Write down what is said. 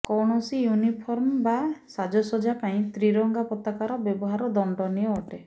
କୌଣସି ୟୁନିଫର୍ମ ବା ସାଜସଜ୍ଜା ପାଇଁ ତ୍ରିରଙ୍ଗା ପତାକାର ବ୍ୟବହାର ଦଣ୍ଡନୀୟ ଅଟେ